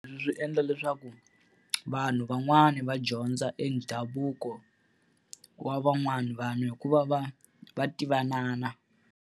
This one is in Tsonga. Leswi swi endla leswaku vanhu van'wani va dyondza e ndhavuko wa van'wani vanhu hi ku va va va tivanana.